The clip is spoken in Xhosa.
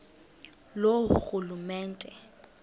loorhulumente